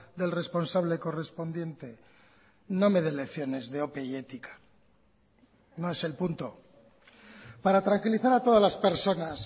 del responsable correspondiente no me dé lecciones de ope y ética no es el punto para tranquilizar a todas las personas